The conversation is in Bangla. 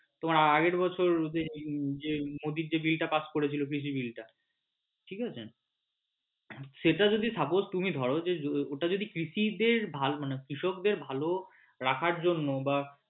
তোমার আগের বছর মোদীর যে bill টা pass করেছিলো কৃষি bill টা ঠিক আছে সেটা যদি suppose তুমি ধরো ওটা যদি কৃষিদের ভালো মানে কৃষক দের ভালো রাখার জন্য বা